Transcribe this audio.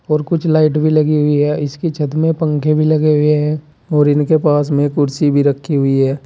और कुछ लाइट भी लगी हुई है इसकी छत में पंखे भी लगे हुए हैं और इनके पास में कुर्सी भी रखी हुई है।